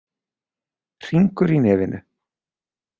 Hringur í nefinu.